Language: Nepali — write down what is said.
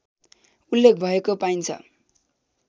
उल्लेख भएको पाइन्छ